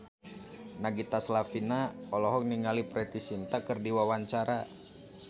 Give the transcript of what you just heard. Nagita Slavina olohok ningali Preity Zinta keur diwawancara